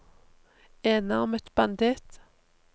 enarmet banditt